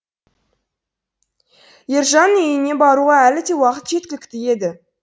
ержан үйіне баруға әлі де уақыт жеткілікті еді